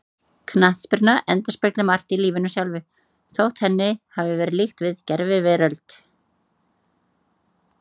Knattspyrna endurspeglar margt í lífinu sjálfu, þótt henni hafi verið líkt við gerviveröld.